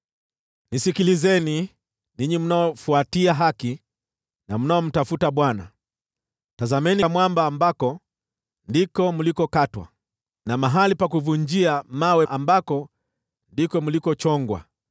“Nisikilizeni, ninyi mnaofuatia haki na mnaomtafuta Bwana : Tazameni mwamba ambako mlichongwa, na mahali pa kuvunjia mawe ambako mlichimbwa;